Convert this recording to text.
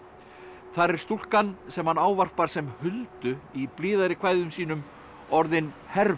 þar er stúlkan sem hann ávarpar sem Huldu í blíðari kvæðum sínum orðin